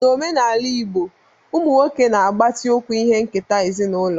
N'omenala igbo, ụmụ nwoke na-agbatịkwu ihe nketa ezinụlọ